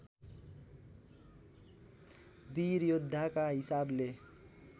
वीर योद्धाका हिसाबले